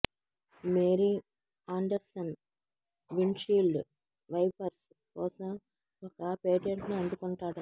Mary Anderson windshield wipers కోసం ఒక పేటెంట్ను అందుకుంటాడు